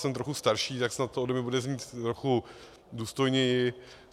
Jsem trochu starší, tak snad to ode mě bude znít trochu důstojněji.